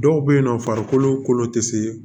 Dɔw bɛ yen nɔ farikolo kolo tɛ se